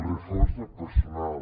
reforç del personal